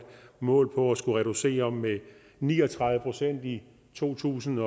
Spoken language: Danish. mål på at skulle reducere med ni og tredive procent i to tusind